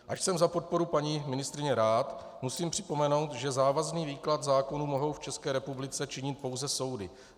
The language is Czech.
Ač jsem za podporu paní ministryně rád, musím připomenout, že závazný výklad zákonů mohou v České republice činit pouze soudy.